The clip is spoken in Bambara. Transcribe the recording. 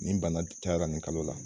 Nin bana cayara nin kalo la